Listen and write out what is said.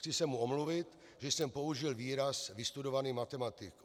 Chci se mu omluvit, když jsem použil výraz "vystudovaný matematik".